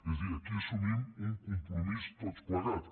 és a dir aquí assumim un compromís tots plegats